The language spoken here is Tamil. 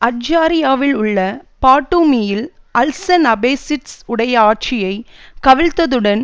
அட்ஜாரியாவில் உள்ள பாட்டூமியில் அல்சன் அபசிட்ஸ் உடைய ஆட்சியை கவிழ்த்தவுடன்